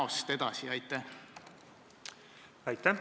Austatud eesistuja!